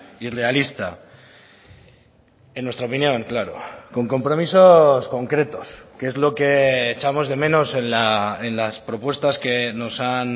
y realista en nuestra opinión claro con compromisos concretos que es lo que echamos de menos en las propuestas que nos han